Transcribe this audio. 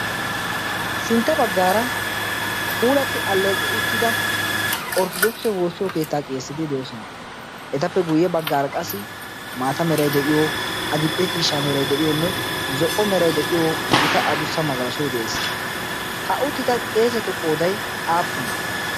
Sintta baggaara puulatti alleeqi uttida Orttodoogise woossiyo keettaa qeeseti de'oosona. Etappe guyye baggaara qassi maata meray de'iyo, adil"e ciishsha meray de'iyonne zo'o meray de'iyo gita adussa magalashoy de'ees. Ha uttida qeesetu qooday aappunee?